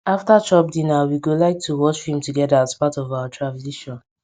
after chop dinner we go like to watch film togeda as part of our tradition